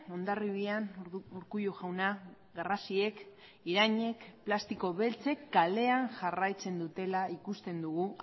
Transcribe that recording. hondarribian urkullu jauna garrasiek irainek plastiko beltzek kalean jarraitzen dutela ikusten dugu